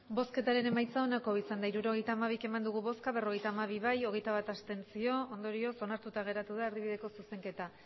hirurogeita hamabi eman dugu bozka berrogeita hamabi bai hogeita bat abstentzio ondorioz onartuta geratu da erdibideko zuzenketa